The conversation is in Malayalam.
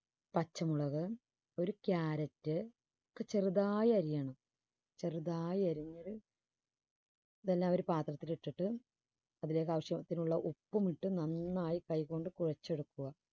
പച്ചമുളക് ഒരു carrot ചെറുതായി അരിയണം ചെറുതായി അരിഞ്ഞത് ഇതെല്ലാം ഒരു പാത്രത്തിൽ ഇട്ടിട്ട് അതിലേക്ക് ആവശ്യത്തിനുള്ള ഉപ്പും ഇട്ട് നന്നായി കൈ കൊണ്ട് കുഴച്ചെടുക്കുക.